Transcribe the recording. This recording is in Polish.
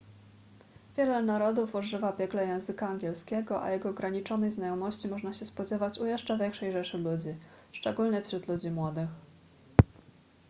wiele narodów używa biegle języka angielskiego a jego ograniczonej znajomości można się spodziewać u jeszcze większej rzeszy ludzi szczególnie wśród ludzi młodych